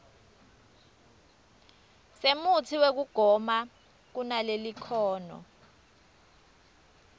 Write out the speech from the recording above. semutsi wekugoma kunalelikhono